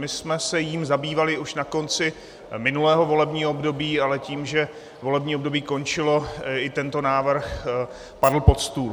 My jsme se jím zabývali už na konci minulého volebního období, ale tím, že volební období končilo, i tento návrh padl pod stůl.